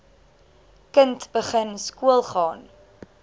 kind begin skoolgaan